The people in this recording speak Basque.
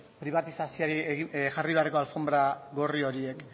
pribatizazioari jarri beharreko alfonbra gorri horiek